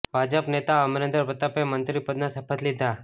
ભાજપ નેતા અમરેન્દ્ર પ્રતાપે મંત્રી પદના શપથ લીધા